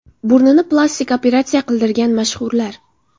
Burnini plastik operatsiya qildirgan mashhurlar.